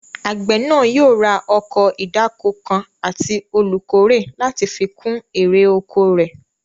Àgbẹ̀ náà yóò wá ọkọ̀ ìdáko kan àti olùkórè láti fi kún èrè oko rẹ̀